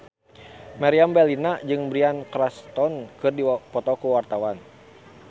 Meriam Bellina jeung Bryan Cranston keur dipoto ku wartawan